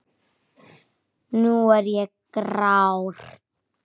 Nú er ég grár.